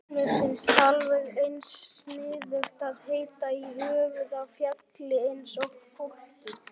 Mér finnst alveg eins sniðugt að heita í höfuðið á fjalli eins og fólki.